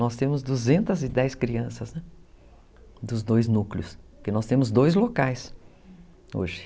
Nós temos duzentas e dez crianças, né, dos dois núcleos, porque nós temos dois locais, hoje.